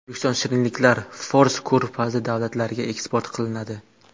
O‘zbekiston shirinliklari Fors ko‘rfazi davlatlariga eksport qilinadi.